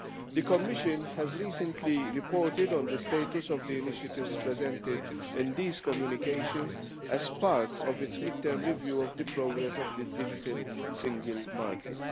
The Commission has recently reported on the status of the initiatives presented in these communications as part of its mid term review of the progress of the Digital Single Market.